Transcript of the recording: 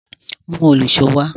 Mú òlùṣó wá!